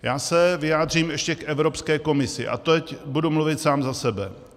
Já se vyjádřím ještě k Evropské komisi, a teď budu mluvit sám za sebe.